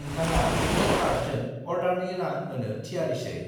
नोंथाङा बे कार्डजों अर्डारनि रां होनो थियारिसै।